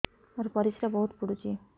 ମୋର ପରିସ୍ରା ବହୁତ ପୁଡୁଚି